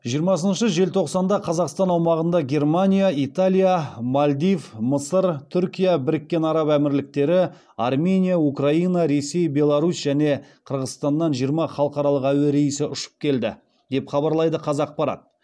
жиырмасыншы желтоқсанда қазақстан аумағында германия италия мальдив мысыр түркия біріккен араб әмірліктері армения украина ресей беларусь және қырғызстаннан жиырма халықаралық әуе рейсі ұшып келді деп хабарлайды қазақпарат